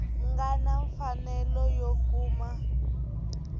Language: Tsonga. nga na mfanelo yo kuma